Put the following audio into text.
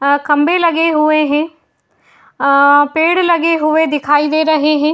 अं खम्भे लगे हुए हैं। अं पेड़ लगे हुए दिखाई दे रहे हैं।